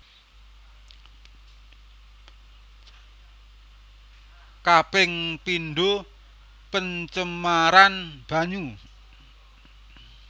Kaping pindo pencemaran banyu